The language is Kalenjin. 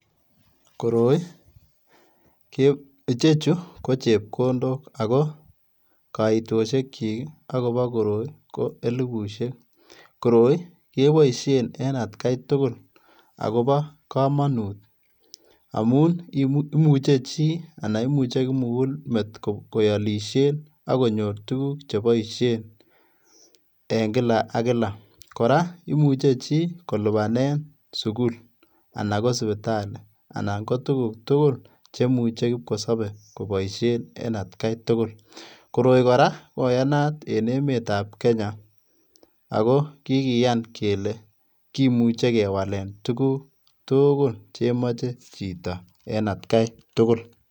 Koroi, ichechuu ko chepkondok ako koitoshe chik ak kobo koroi ko elibushek, koroi keboishen en atgai tukul akobo komonut amun imuche chii anan imuche kimukulmet koolishen ak konyor tukuk cheboishen en kila ak kila. Koraa imuche chii kolipanen sukul anan ko sipitali anan ko tukuk tukul che imuche kipkosobe koboishen en atgai tukul, koroi koyanat en emet ab kenya ako kikiyan kele kimuche kewalen tukuk tukul chemoche chito en atgai tukul.